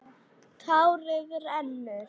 Tárið rennur.